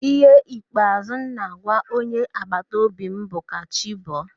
Ihe ikpeazụ m na-agwa onye agbataobi m bụ, "ka chi bọọ"